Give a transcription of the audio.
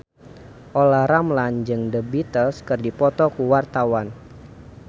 Olla Ramlan jeung The Beatles keur dipoto ku wartawan